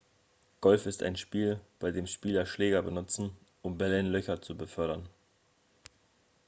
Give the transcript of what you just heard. golf ist ein spiel bei dem spieler schläger benutzen um bälle in löcher zu befördern